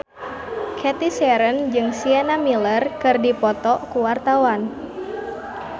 Cathy Sharon jeung Sienna Miller keur dipoto ku wartawan